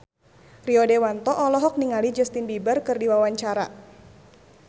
Rio Dewanto olohok ningali Justin Beiber keur diwawancara